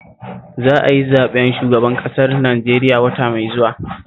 Za a yi zaɓen shugaban ƙasar Najeriya wata mai zuwa